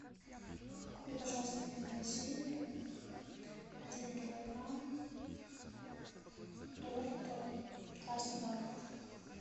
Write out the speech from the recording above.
купи пожалуйста в магазине один килограмм торта красный бархат